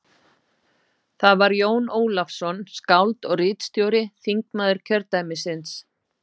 Það var Jón Ólafsson, skáld og ritstjóri, þingmaður kjördæmisins.